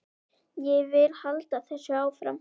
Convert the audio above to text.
Ég vil halda þessu áfram.